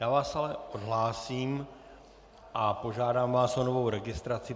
Já vás ale odhlásím a požádám vás o novou registraci.